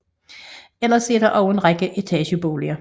Ellers er der også en række etageboliger